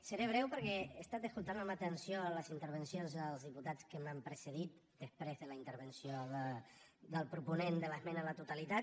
seré breu perquè he estat escoltant amb atenció les intervencions dels diputats que m’han precedit després de la intervenció del proponent de l’esmena a la totalitat